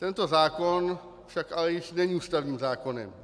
Tento zákon však ale již není ústavním zákonem.